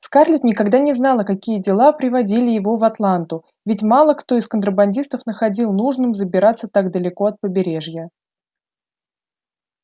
скарлетт никогда не знала какие дела приводили его в атланту ведь мало кто из контрабандистов находил нужным забираться так далеко от побережья